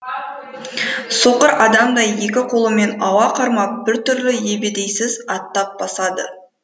соқыр адамдай екі қолымен ауа қармап біртүрлі ебедейсіз аттап басады